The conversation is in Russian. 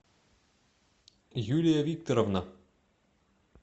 юлия викторовна